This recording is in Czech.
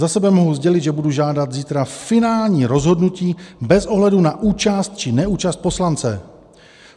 Za sebe mohu sdělit, že budu žádat zítra finální rozhodnutí bez ohledu na účast či neúčast poslance.